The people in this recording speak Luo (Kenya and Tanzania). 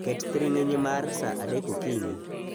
Ket thiring'inyi mar sa adek okinyi